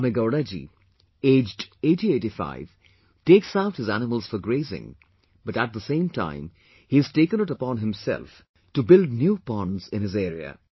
Kamegowdaji, aged 8085 takes out his animals for grazing but at the same time he has taken it upon himself to build new ponds in his area